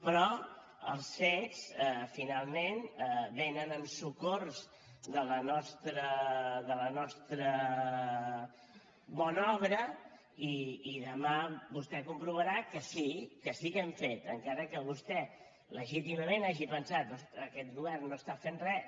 però els fets finalment vénen en socors de la nostra bona obra i demà vostè comprovarà que sí que sí que hem fet encara que vostè legítimament hagi pensat aquest govern no està fent res